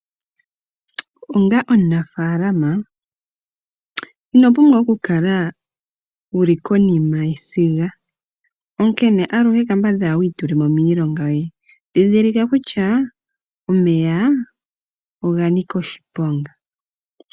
Onga omunafaalama ino pumbwa oku kala wuli konima yesiga. Onkene aluhe kambadhala wiitulemo miilonga yoye ndhindhilika kutya omeya oga nika oshiponga.